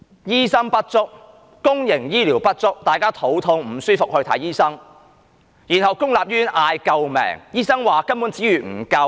醫生不足，公營醫療不足，大家肚痛、身體不適，需要看醫生，然後公立醫院喊救命，醫生說資源不足。